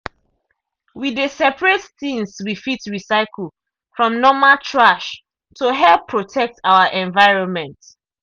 we dey separate things we fit recycle from normal trash to help protect our environment.